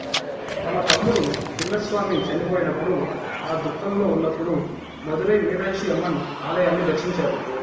తన తమ్ముడు చిన్నస్వామి చనిపోయినప్పుడు ఆ దుఖంలో ఉన్నప్పుడు మదురై మీనాక్షి అమ్మన్ ఆలయాన్ని దర్శించారు